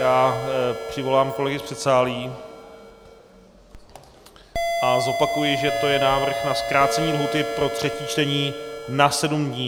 Já přivolám kolegy z předsálí a zopakuji, že to je návrh na zkrácení lhůty pro třetí čtení na sedm dní.